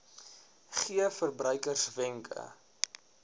gee verbruikers wenke